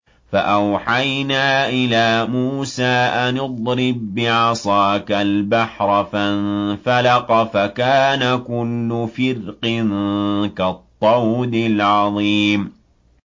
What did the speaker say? فَأَوْحَيْنَا إِلَىٰ مُوسَىٰ أَنِ اضْرِب بِّعَصَاكَ الْبَحْرَ ۖ فَانفَلَقَ فَكَانَ كُلُّ فِرْقٍ كَالطَّوْدِ الْعَظِيمِ